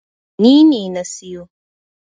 Ni ne na siyo.